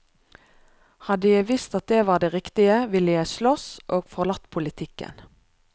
Hadde jeg visst at det var det riktige, ville jeg sloss, og forlatt politikken.